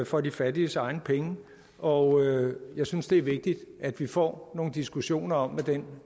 for de fattiges egne penge og jeg synes det er vigtigt at vi får nogle diskussioner om hvad den